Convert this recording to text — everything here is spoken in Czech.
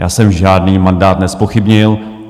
Já jsem žádný mandát nezpochybnil.